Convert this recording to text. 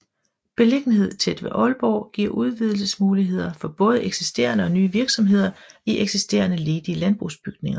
Beliggenhed tæt ved Aalborg giver udvidelsesmuligheder for både eksisterende og nye virksomheder i eksisterende ledige landbrugsbygninger